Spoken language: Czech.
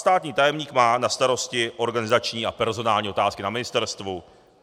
Státní tajemník má na starosti organizační a personální otázky na ministerstvu.